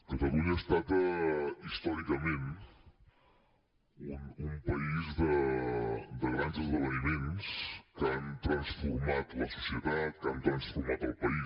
catalunya ha estat històricament un país de grans esdeveniments que han transformat la societat que han transformat el país